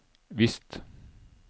visst